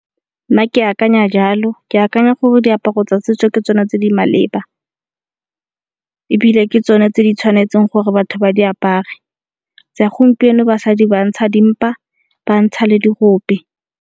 Nna ke akanya jalo ke akanya gore diaparo tsa setso ke tsona tse di maleba, ebile ke tsona tse di tshwanetseng gore batho ba di apare. Tsa gompieno basadi ba ntsha dimpa ba ntsha le dirope.